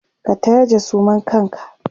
ka taje suman kanka!